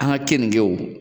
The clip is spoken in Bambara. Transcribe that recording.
An ka kɛninkɛ o